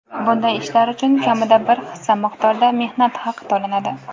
bunday ishlar uchun kamida bir hissa miqdorda mehnat haqi to‘lanadi.